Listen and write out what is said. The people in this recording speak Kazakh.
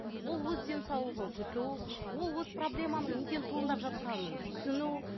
ол өз денсаулығын күту ол өз проблеманың неден туындап жатқанын түсіну